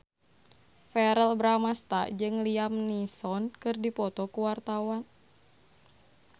Verrell Bramastra jeung Liam Neeson keur dipoto ku wartawan